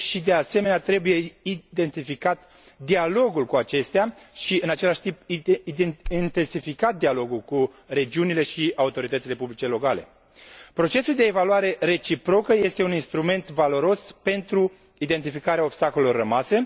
De asemenea, trebuie intensificat dialogul cu acestea și, în același timp, trebuie intensificat dialogul cu regiunile și autoritățile publice locale. Procesul de evaluare reciprocă este un instrument valoros pentru identificarea obstacolelor rămase.